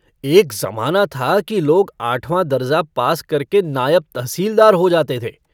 एक जमाना था कि लोग आठवाँ दरजा पास करके नायब तहसीलदार हो जाते थे।